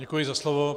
Děkuji za slovo.